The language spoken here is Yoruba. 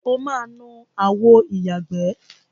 O máa nu àwo ìyàgbẹ́.